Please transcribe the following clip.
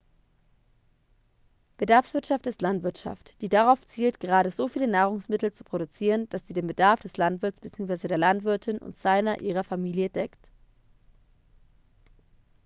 bedarfswirtschaft ist landwirtschaft die darauf zielt gerade so viele nahrungsmittel zu produzieren dass sie den bedarf des landwirts bzw. der landwirtin und seiner/ihrer familie deckt